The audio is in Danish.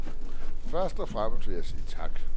Først og fremmest vil jeg sige tak.